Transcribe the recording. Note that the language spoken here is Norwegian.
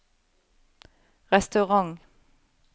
restaurant